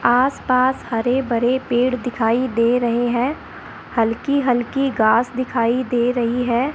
आस पास हरे भरे पेड़ दिखाई दे रहे हैं हल्की-हल्की घास दिखाई दे रही है।